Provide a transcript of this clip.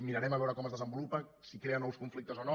mirarem a veure com es desenvolupa si crea nous conflictes o no